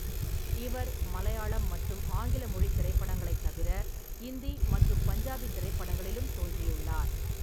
இவர் மலையாளம் மற்றும் ஆங்கில மொழித் திரைப்படங்களைத் தவிர, இந்தி மற்றும் பஞ்சாபி திரைப்படங்களிலும் தோன்றியுள்ளார்.